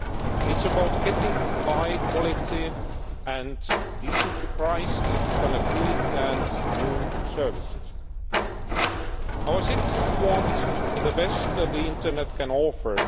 It is about getting high quality and decently priced connectivity and new services. Our citizens want the best the internet can offer.